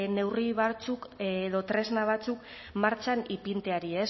neurri batzuk edo tresna batzuk martxan ipintzeari